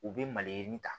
U bɛ maliyirinin ta